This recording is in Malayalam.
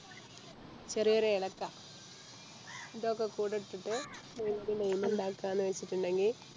ചെറിയൊര് ഏലക്ക ഇതൊക്കെക്കൂടെ ഇട്ടിട്ട് നമുക്ക് Lime ഇണ്ടാക്കാന്ന് വെച്ചിട്ടുണ്ടെങ്കി